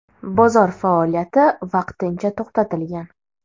Bozor faoliyati vaqtincha to‘xtatilgan.